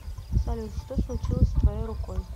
салют что случилось с твоей рукой